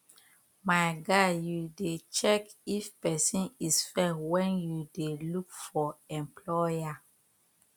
my guy you dey check if pesin is fair when you dey look for employer